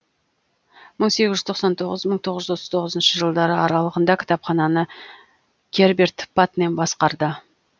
мың сегіз жүз тоқсан тоғыз мың тоғыз жүз отыз тоғызыншы жылдары аралығында кітапхананы герберт патнем басқарды